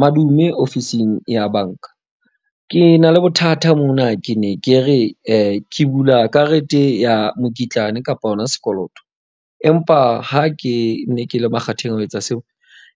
Madume ofising ya banka. Ke na le bothata mona ke ne ke re ke bula karete ya mokitlane kapa hona sekoloto. Empa ha ke ne ke le makgatheng a ho etsa seo,